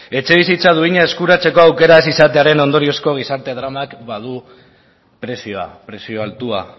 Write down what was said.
etxebizitza duina eskuratzeko aukerak izatearen ondoriozko gizarte dramak badu prezioa prezio altua